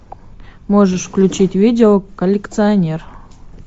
можешь включить видео коллекционер